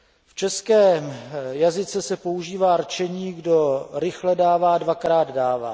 V českém jazyce se používá rčení Kdo rychle dává, dvakrát dává.